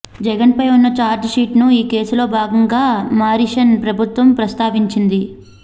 జగన్ పై ఉన్న charge sheet ను ఈ కేసులో భాగంగా మారిషస్ ప్రభుత్వం ప్రస్థావించింది